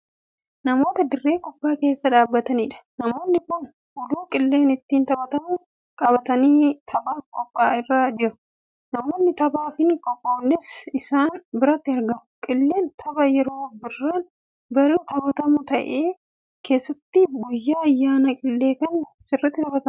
Namoota dirree kubbaa keessa dhaabbataniidha. namoonni Kun uluu qilleen ittiin taphatamu qabatanii taphaaaf qophoirra jiru. namoonni taphaaf hin qophoofnes isaan biratti argamu. qilleen tapha yeroo birraan bari'u taphatamu ta'ee keessatti guyyaa ayyaana qillee Kan sirriitti taphatamuudha.